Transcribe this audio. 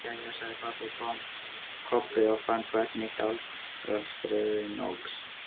Jæja, sagði Kobbi og fann hvernig hjartslátturinn óx.